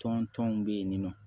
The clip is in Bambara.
Tɔn tɔnw bɛ yen nin nɔ